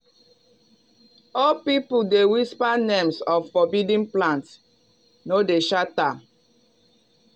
old people dey whisper names of forbidden plants no dey shout am.